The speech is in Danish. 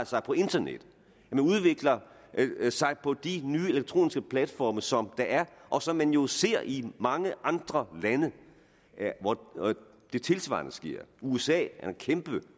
sig på internettet at man udvikler sig på de nye elektroniske platforme som der er og som man jo ser i mange andre lande hvor det tilsvarende sker i usa er der en kæmpe